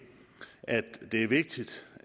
at det er vigtigt